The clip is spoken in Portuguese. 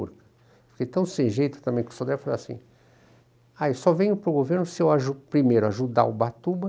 Fiquei tão sem jeito também com o Sodré, falei assim, aí só venho para o governo se eu aju primeiro ajudar Ubatuba,